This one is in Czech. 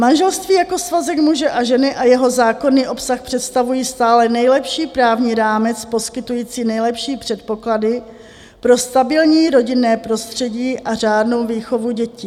Manželství jako svazek muže a ženy a jeho zákonný obsah představují stále nejlepší právní rámec poskytující nejlepší předpoklady pro stabilní rodinné prostředí a řádnou výchovu dětí.